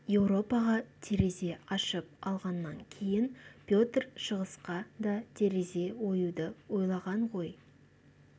еуропаға терезе ашып алғаннан кейін петр шығысқа да терезе оюды ойлаған ғой